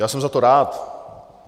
Já jsem za to rád.